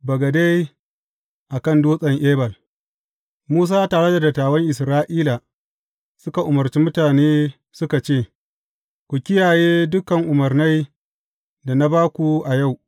Bagade a kan Dutsen Ebal Musa tare da dattawan Isra’ila suka umarci mutane suka ce, Ku kiyaye dukan umarnai da na ba ku a yau.